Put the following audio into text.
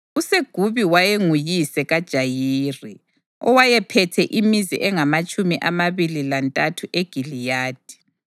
USegubi wayenguyise kaJayiri, owayephethe imizi engamatshumi amabili lantathu eGiliyadi.